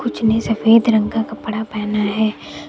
कुछ ने सफेद रंग का कपड़ा पहना है।